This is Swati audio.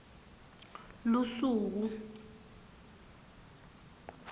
lusuku d d